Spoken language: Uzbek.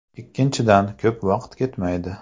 Ikkinchidan, ko‘p vaqt ketmaydi.